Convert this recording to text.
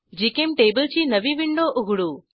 GChemTable ची नवी window उघडू